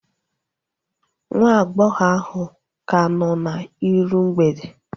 Nwa agbọghọ ahu ka nọ n'iru mgbede